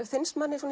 finnst manni